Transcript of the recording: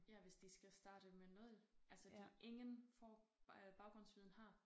Ja hvis de skal starte med 0 altså de ingen får baggrundsviden har